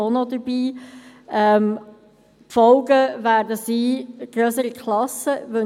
Die Folge davon werden grössere Klassen sein.